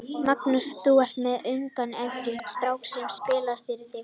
Magnús: Þú er með ungan efnilegan strák sem spilar fyrir þig?